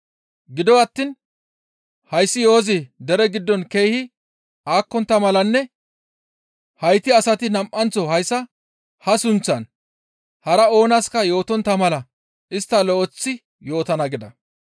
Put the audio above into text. Gido attiin hayssi yo7ozi dere giddon keehi aakkontta malanne hayti asati nam7anththo hayssa ha sunththaan hara oonaska yootontta mala isttas lo7eththi yootana» gida.